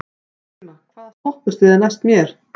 Maxima, hvaða stoppistöð er næst mér?